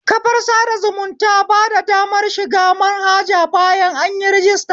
Kafar sada zumunta bada damar shiga manhaja bayan anyi rajister